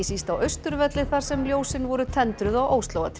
síst á Austurvelli þar sem ljósin voru tendruð á